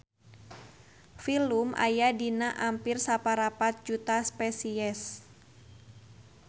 Filum aya dina ampir saparapat juta spesies.